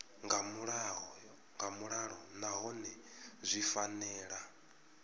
nga vhuḓalo nahone zwi fanela